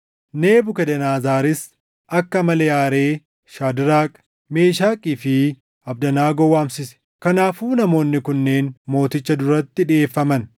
Nebukadnezaris akka malee aaree Shaadraak, Meeshakii fi Abdanaagoo waamsise. Kanaafuu namoonni kunneen mooticha duratti dhiʼeeffaman;